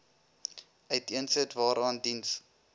uiteensit waaraan diens